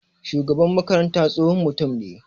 Shugaban makaranta tsohon mutum ne.